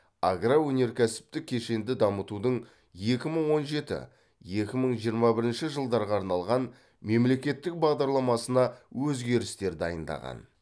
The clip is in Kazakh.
агроөнеркәсіптік кешенді дамытудың екі мың он жеті екі мың жиырма бірінші жылдарға арналған мемлекеттік бағдарламасына өзгерістер дайындаған